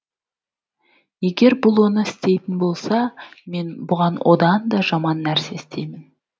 егер бұл оны істейтін болса мен бұған одан да жаман нәрсе істеймін